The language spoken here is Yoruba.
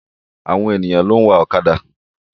Àwọn èyàn ló ń wa ọ̀kàdà.